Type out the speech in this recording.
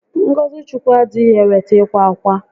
Ngọzị Chukwu adịghị eweta ịkwa ákwà